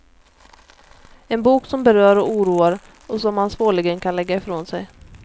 En bok som berör och oroar och som man svårligen kan lägga i från sig.